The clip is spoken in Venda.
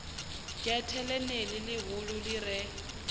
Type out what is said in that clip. gethe ḽeneḽi ḽihulu ḽi re